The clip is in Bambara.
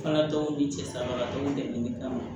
Fana denw ni cɛsiribagatɔw de d'an ma